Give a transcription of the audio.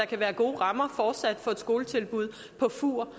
kan være gode rammer for et skoletilbud på fur